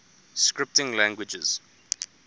scripting languages